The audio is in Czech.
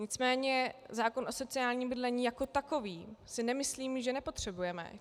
Nicméně zákon o sociálním bydlení jako takový si nemyslím, že nepotřebujeme.